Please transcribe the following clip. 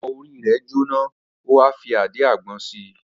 Awọ orí rẹ̀ jóná, ó wá fi àdíàgbọn si.